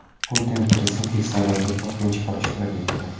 Putin prezidentlik saylovida to‘rtinchi bor ishtirok etdi.